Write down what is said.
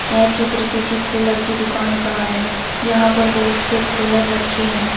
यह चित्र किसी कूलर की दुकान का है जहां बहुत से कूलर रखे है।